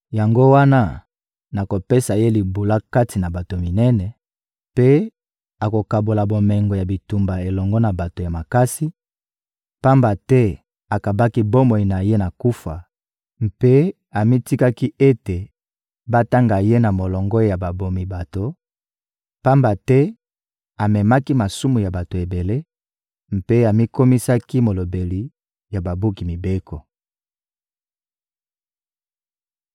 Yango wana, nakopesa ye libula kati na bato minene, mpe akokabola bomengo ya bitumba elongo na bato ya makasi, pamba te akabaki bomoi na ye na kufa mpe amitikaki ete batanga ye na molongo ya babomi bato, pamba te amemaki masumu ya bato ebele mpe amikomisaki molobeli ya babuki mibeko.